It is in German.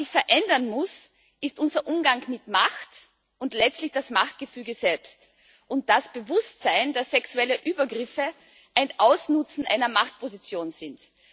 Was sich verändern muss, ist unser Umgang mit Macht und letztlich das Machtgefüge selbst und das Bewusstsein, dass sexuelle Übergriffe ein Ausnutzen einer Machtposition sind.